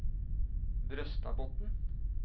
Brøstadbotn